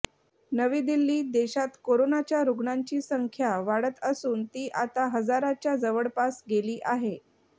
नवी दिल्लीः देशात करोनाच्या रुग्णांची संख्या वाढत असून ती आता हजाराच्या जवळपास गेली आहे